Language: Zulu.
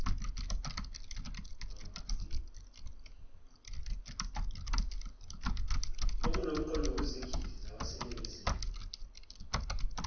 okunomqondo kuzigidi zabaseningizimu